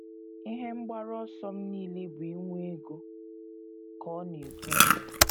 “ Ihe mgbaru ọsọ m nile bụ inwe ego, ” ka ọ na - ekwu.